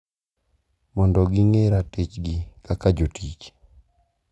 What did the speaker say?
Mondo ging`e ratichgi kaka jotich.